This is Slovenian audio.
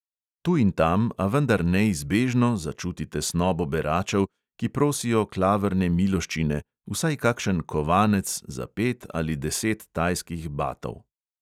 Tu in tam, a vendar neizbežno, začuti tesnobo beračev, ki prosijo klavrne miloščine, vsaj kakšen kovanec, za pet ali deset tajskih batov.